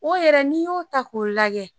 O yɛrɛ n'i y'o ta k'o lagɛ.